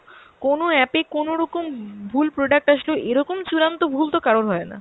কোনো app এ কোনোরকম কোনো ভুল product আসলো এরকম চূড়ান্ত ভুল তো কারোর হয়না।